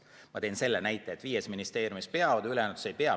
Ma tõin selle näite, et viies ministeeriumis nad peavad esitama, ülejäänutes ei pea.